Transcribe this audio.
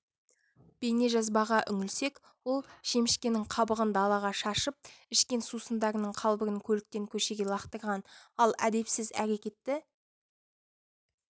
бейнежазбаға үңілсек ол шемішкенің қабығын далаға шашып ішкен сусындарының қалбырын көліктен көшеге лақтырған ал әдепсіз әрекетті